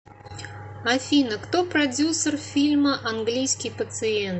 афина кто продюсер фильма англиискии пациент